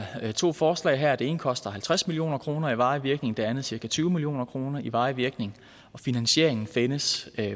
to forslag her det ene koster halvtreds million kroner i varig virkning og det andet cirka tyve million kroner i varig virkning og finansieringen findes